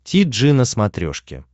ти джи на смотрешке